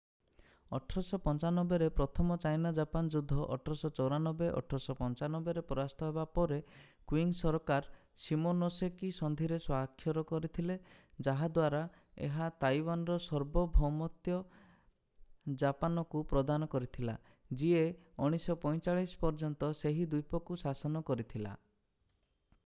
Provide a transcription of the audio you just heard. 1895 ରେ ପ୍ରଥମ ଚାଇନା-ଜାପାନ ଯୁଦ୍ଧ 1894-1895 ରେ ପରାସ୍ତ ହେବା ପରେ କ୍ୱିଙ୍ଗ ସରକାର ଶିମୋନୋସେକି ସନ୍ଧିରେ ସ୍ଵାକ୍ଷର କରିଥିଲେ ଯାହା ଦ୍ଵାରା ଏହା ତାଇୱାନର ସାର୍ବଭୌମତ୍ଵ ଜାପାନକୁ ପ୍ରଦାନ କରିଥିଲା ଯିଏ 1945 ପର୍ଯ୍ୟନ୍ତ ସେହି ଦ୍ଵୀପକୁ ଶାସନ କରିଥିଲା।